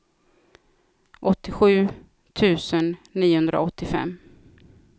åttiosju tusen niohundraåttiofem